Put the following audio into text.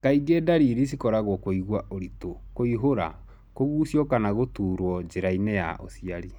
Kaingĩ dariri cikoragwo kũigua ũritũ, kũihũra, kũgucio kana gũturo njĩrainĩ ya ũciari.